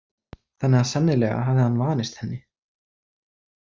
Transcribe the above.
Þannig að sennilega hafði hann vanist henni.